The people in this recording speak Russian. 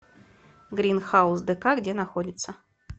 грин хаус дэка где находится